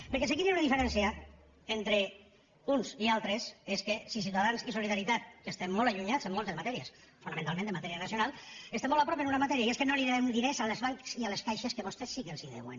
perquè aquí hi ha una diferència entre uns i altres i és que ciutadans i solidaritat que estem molt allunyats en moltes matèries fonamentalment en matèria nacional estem molt a prop en una matèria i és que no devem diners als bancs i a les caixes que vostès sí que els en deuen